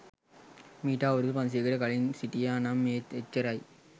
මීට අවුරුදු පන්සීයකට කලින් හිටියා නම් ඒත් එච්චරයි.